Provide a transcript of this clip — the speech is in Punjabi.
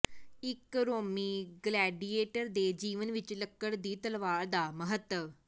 ਇਕ ਰੋਮੀ ਗਲੈਡੀਏਟਰ ਦੇ ਜੀਵਨ ਵਿਚ ਲੱਕੜ ਦੀ ਤਲਵਾਰ ਦਾ ਮਹੱਤਵ